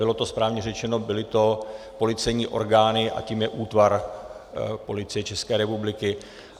Bylo to správně řečeno, byly to policejní orgány, a tím je útvar Policie České republiky.